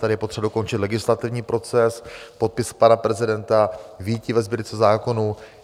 Tady je potřeba dokončit legislativní proces, podpis pana prezidenta, vyjití ve Sbírce zákonů.